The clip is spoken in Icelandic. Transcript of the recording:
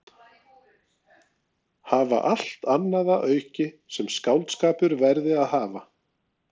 Hafa allt annað að auki sem skáldskapur verði að hafa.